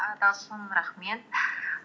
і талшын рахмет